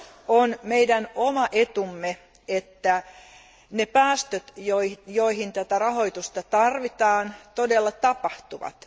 On meidän oma etumme, että ne päästöt, joihin tätä rahoitusta tarvitaan, todella tapahtuvat